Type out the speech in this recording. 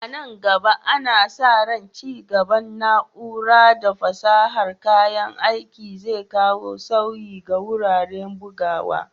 A nan gaba, ana sa ran ci gaban na'ura da fasahar kayan aiki zai kawo sauyi ga wuraren bugawa.